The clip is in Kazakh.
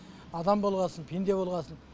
адам болғасын пенде болғасын